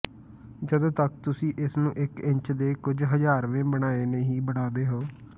ਜਦੋਂ ਤੱਕ ਤੁਸੀਂ ਇਸ ਨੂੰ ਇਕ ਇੰਚ ਦੇ ਕੁਝ ਹਜ਼ਾਰਵੇਂ ਬਣਾਏ ਨਹੀਂ ਬਣਾਉਂਦੇ ਹੋ